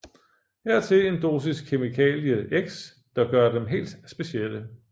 Hertil en dosis kemikalie X der gør dem helt specielle